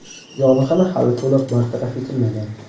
yong‘in hali to‘liq bartaraf etilmagan.